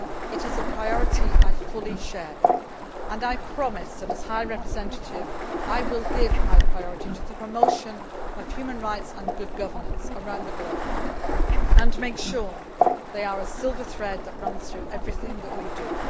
It is a priority I fully share and I promise that, as High Representative, I will give high priority to the promotion of human rights and good governance around the globe and make sure they are a silver thread that runs through everything that we